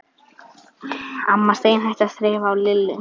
Amma steinhætti að þreifa á Lillu.